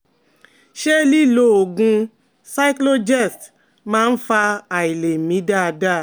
Ṣé lílo oògùn Cyclogest máa ń fa àìlè mí dáadáa?